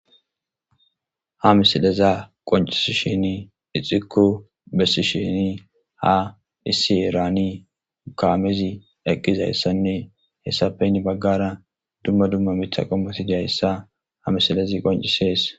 Ha missilezi qonccisishin ixxiko bessishin issi heeran kaamezi eqqidayssanne hessappe heni baggera dumma dumma miththa qommoy diizayssa ha missilezi qonccises.